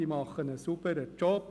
Sie macht einen sauberen Job.